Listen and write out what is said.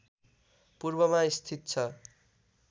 पूर्वमा स्थित छ